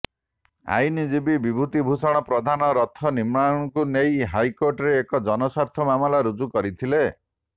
ଆଇନଜୀବୀ ବିଭୁତି ଭୂଷଣ ପ୍ରଧାନ ରଥ ନିର୍ମାଣକୁ ନେଇ ହାଇକୋର୍ଟରେ ଏକ ଜନସ୍ବାର୍ଥ ମାମଲା ରୁଜୁ କରିଥିଲେ